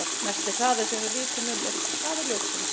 Mesti hraði sem við vitum um er hraði ljóssins.